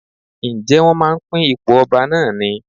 Ǹjẹ́ wón máa ń pín ipò ọba náà ni?